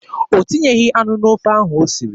O tinyeghị anụ n'ofe ahụ o siri.